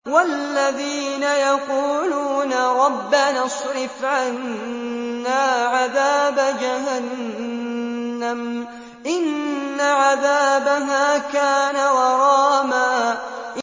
وَالَّذِينَ يَقُولُونَ رَبَّنَا اصْرِفْ عَنَّا عَذَابَ جَهَنَّمَ ۖ إِنَّ عَذَابَهَا كَانَ غَرَامًا